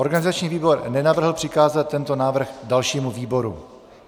Organizační výbor nenavrhl přikázat tento návrh dalšímu výboru.